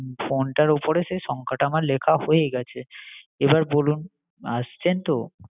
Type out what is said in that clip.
phone টার ওপরে সেই সংখ্যাটা আমার লেখা হয়ে গেছে, এবার বলুন আসছেন তো?